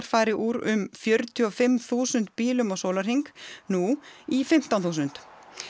fari úr um fjörutíu og fimm þúsund bílum á sólarhring nú í fimmtán þúsund